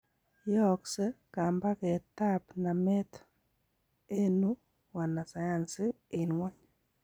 Yoogsei kambaget ab nameet enuu wanasayansi en ngwony.